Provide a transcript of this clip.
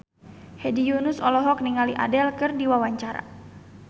Hedi Yunus olohok ningali Adele keur diwawancara